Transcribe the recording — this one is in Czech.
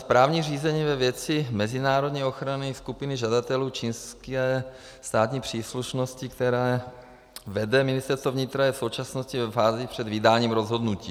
Správní řízení ve věci mezinárodní ochrany skupiny žadatelů čínské státní příslušnosti, které vede Ministerstvo vnitra, je v současnosti ve fázi před vydáním rozhodnutí.